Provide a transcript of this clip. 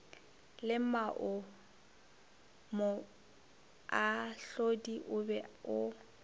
le moahlodi o be o